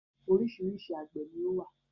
Oríṣiríṣi àgbẹ̀ ni ó wà